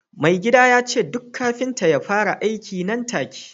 mai gida ya ce duk kafinta ya fara aiki nan take